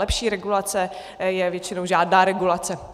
Lepší regulace je většinou žádná regulace.